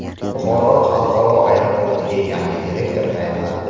Buxoro xalqaro aeroportiga yangi direktor tayinlandi.